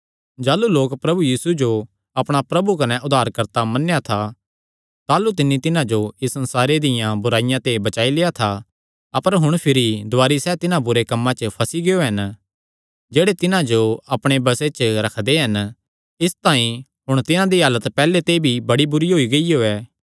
जाह़लू लोक प्रभु यीशु मसीह जो अपणा प्रभु कने उद्धारकर्ता मन्नेया था ताह़लू तिन्नी तिन्हां जो इस संसारे दिया बुराईया ते बचाई लेआ था अपर हुण भिरी दुवारी सैह़ तिन्हां बुरे कम्मां च फंसी गियो हन जेह्ड़े तिन्हां जो अपणे बसे च रखदे हन इसतांई हुण तिन्हां दी हालत पैहल्ले ते भी बड़ी बुरी होई गियो ऐ